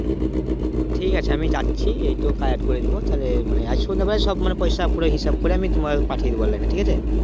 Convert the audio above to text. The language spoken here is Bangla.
ঠিক আছে আমি যাচ্ছি এইতো collect করে নেব তাহলে মানে সন্ধ্যেবেলায় সব মানে পয়সা পুরো হিসাব করে আমি তোমাকে পাঠিয়ে দেবো online এ ঠিক আছে